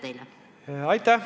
Aitäh!